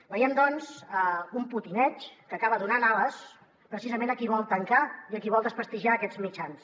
veiem doncs una potineria que acaba donant ales precisament a qui vol tancar i a qui vol desprestigiar aquests mitjans